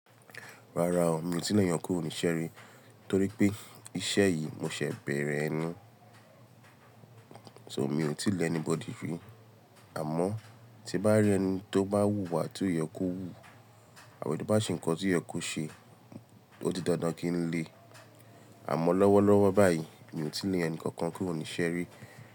Rárá o, mi ò tí lè eeyàn kurò ní ibi iṣé ri, torí pé iṣẹ́ yìí mo ṣẹ̀ bẹ̀rẹ̀ ẹni, so mi ò tí lè anybody rí. Àmọ́ tí n bá rí ẹni tó bá wù wà tí ó yẹ kó wú, àbi tó bá ṣe nǹkan tí ó yẹ kó ṣe, ó di dandan kí n le. Àmọ́ lọ́wọ́ lọ́wọ́ báyìí mi ò tí lè ẹni kankan kurò ní iṣe ri.